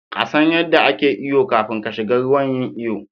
ƙasan yadda ake iyo kafin kashiga ruwa yin iyo